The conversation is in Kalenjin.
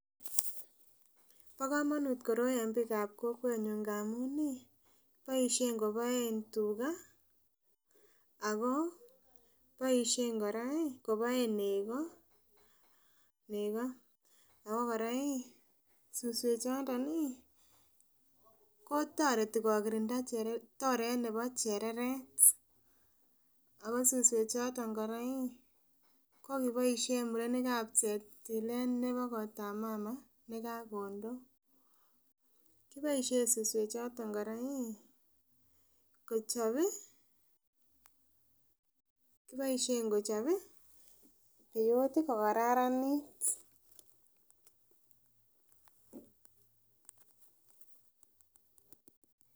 Bo komonut koroi en bikab kokwenyun ngamun nii boishen koboe tugaa ako boishen Koraa ii koboen nekoo nekoo ako Koraa iih suswek chondo iih kotoeti kokirinda chere toret nebo chereret ako suswek choton Koraa iih ko kiboishen murenik ak cheptilet nebo kota mamaa nekakomdoo. Kiboishen suswek choton Koraa iih kochopii kiboishen kochopi biuiti ko kararanit.